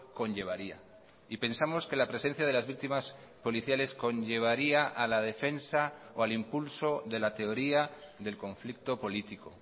conllevaría y pensamos que la presencia de las víctimas policiales conllevaría a la defensa o al impulso de la teoría del conflicto político